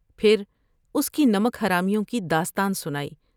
پھر اس کی نمک حرامیوں کی داستان سنائی ۔